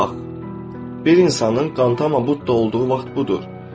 Bax, bir insanın qantam olduğunu vaxt budur.